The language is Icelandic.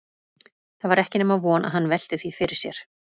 Það var ekki nema von að hann velti því fyrir sér.